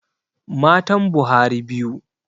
Matan Buhari biyu.